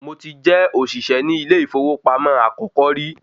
Mo ti jẹ́ ọ̀ṣìṣẹ́ ni ilé ìfowópamọ́ àkọ́kọ́ rí